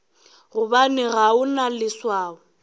gobane ga o na leswao